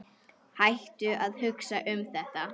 Hættu að hugsa um þetta.